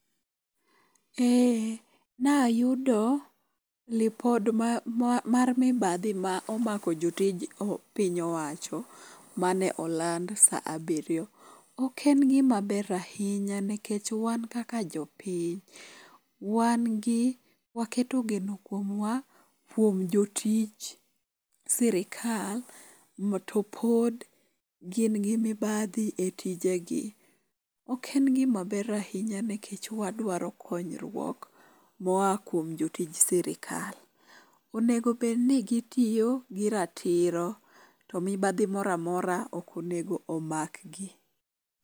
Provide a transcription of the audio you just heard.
E nayudo ripot mar mibadhi ma omako jotij piny owacho mane oland sa abiryo. Ok en gimaber ahinya nikech wan kaka jopiny, wan gi waketo geno kuomwa kuom jotich sirkal ma to pod gin gi mibadhi e tije gi. Ok en gima ber ahinya nikech wadwaro konyruok moa kuom jotij sirkal. Onego bed ni gitiyo gi ratiro to mibadhi moro amora ok onego omak gi.